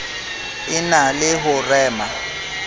e na le ho rema